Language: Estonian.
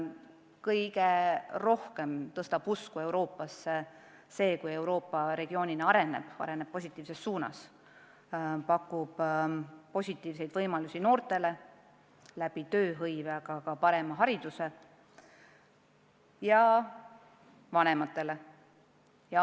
Kõige rohkem suurendab usku Euroopasse see, kui Euroopa regioonina areneb, areneb positiivses suunas, pakub inimestele häid võimalusi tööhõive näol, noortele aga ka parema hariduse näol.